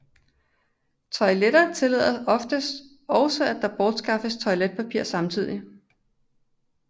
Toiletter tillader oftest også at der bortskaffes toiletpapir samtidig